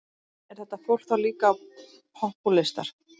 Er þetta fólk þá líka popúlistar?